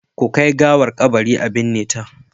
Ku kai gawar kabari a binne ta.